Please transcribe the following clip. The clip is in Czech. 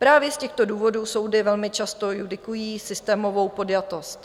Právě z těchto důvodů soudy velmi často judikují systémovou podjatost.